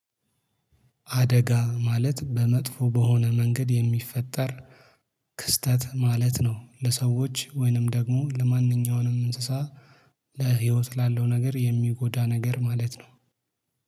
አደጋ ማለት በመጥፎ በሆነ መንገድ የሚፈጠር ክስተት ማለት ነው። ለሰዎች ወይንም ደግሞ ለማንኛውንም እንስሳ ለህይወት ላለው ነገር የሚጎዳ ነገር ማለት ነው